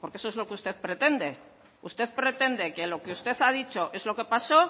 porque eso es lo que usted pretende usted pretende que lo que usted ha dicho es lo que pasó